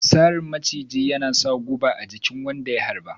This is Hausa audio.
Sarrin maciji yana sa guba a chikin jikin wanda ya harba.